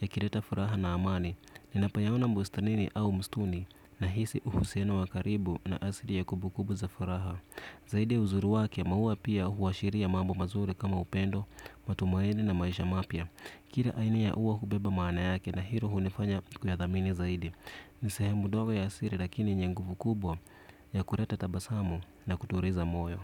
yakileta furaha na amani. Ninapoyaona bustanini au msituni nahisi uhusiano wa karibu na asili ya kumbukumbu za furaha zaidi ya uzuri wake, maua pia huashiria mambo mazuri kama upendo, matumaini na maisha mapya. Kila aini ya ua hubeba maana yake na hilo hunifanya kuyathamini zaidi. Ni sehemu dogo ya siri lakini yenye nguvu kubwa ya kuleta tabasamu na kutuliza moyo.